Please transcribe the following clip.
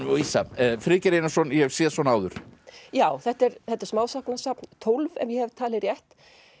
og vísa Friðgeir Einarsson ég hef séð svona áður já þetta er þetta er smásagnasafn tólf ef ég hef talið rétt